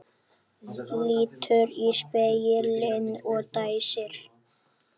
Lítur í spegilinn og dæsir.